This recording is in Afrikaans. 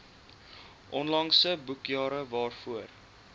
onlangse boekjare waarvoor